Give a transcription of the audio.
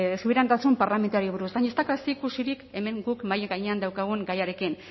subiranotasun parlamentarioari buruz baina ez dauka zerikusirik hemen guk mahai gainean daukagun gaiarekin